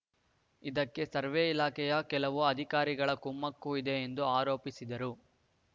ಇದಕ್ಕೆ ಸರ್ವೆ ಇಲಾಖೆಯ ಕೆಲವು ಅಧಿಕಾರಿಗಳ ಕುಮ್ಮಕ್ಕೂ ಇದೆ ಎಂದು ಆರೋಪಿಸಿದರು